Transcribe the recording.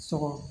Sɔgɔ